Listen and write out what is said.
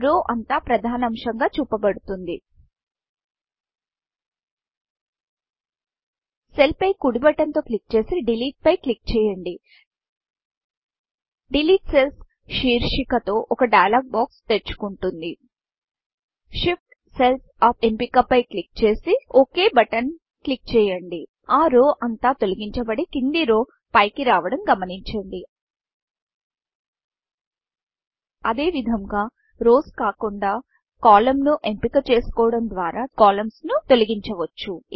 రౌ రోఅంతా ప్రధానాంశంగా చూపబడుతుంది సెల్ పై కుడి బటన్ తో క్లిక్ చేసి Deleteడెలీట్పై క్లిక్ చేయండి డిలీట్ సెల్స్ డెలీట్ సెల్స్శీర్షిక తో ఒక డైలాగ్ బాక్స్ డైయలోగ్ బాక్స్తెరుచుకుంటుంది Shift cells U P shift cells అప్ఎంపిక పై క్లిక్ చేసి ఒక్ బటన్ ఓక్ బటన్క్లిక్ చేయండి ఆ rowరో అంత తొలగించబడి కింది రో పైకి రావడం గమనించండి అదేవిధముగా రౌస్ రోస్కాకుండా కాలమ్న్స్ కాలమ్స్ను ఎంపిక చేసుకోవడం ద్వారా కాలమ్న్స్ కాలమ్స్తొలగించవచ్చు